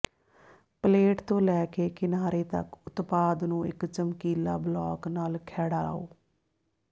plate ਤੋਂ ਲੈ ਕੇ ਕਿਨਾਰੇ ਤਕ ਉਤਪਾਦ ਨੂੰ ਇਕ ਚਮਕੀਲਾ ਬਲਾਕ ਨਾਲ ਖਹਿੜਾਓ